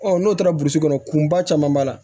Ɔ n'o taara burusi kɔnɔ kunba caman b'a la